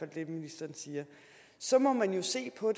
det ministeren siger så må man jo se på